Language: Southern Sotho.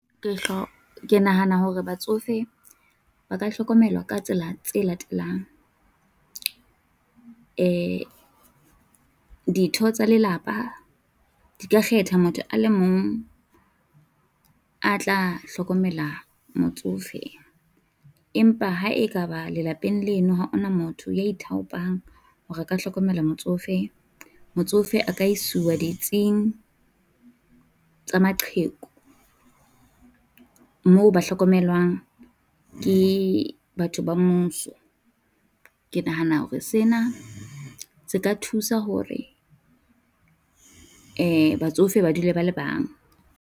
Ke nahana hore batsofe ba ka hlokomelwa ka tsela tse latelang, eh ditho tsa lelapa di ka kgetha motho a le mong a tla hlokomela motsofe, empa ha ekaba lelapeng leno ha ho na motho ya ithaopang ho re a ka hlokomela motsofe, motsofe a ka iswa ditsing tsa maqheku moo ba hlokomelwang ke batho ba mmuso. Ke nahana hore sena se ka thusa hore eh batsofe ba dule ba le bang.